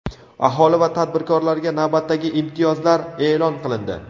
Aholi va tadbirkorlarga navbatdagi imtiyozlar e’lon qilindi.